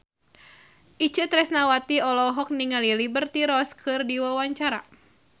Itje Tresnawati olohok ningali Liberty Ross keur diwawancara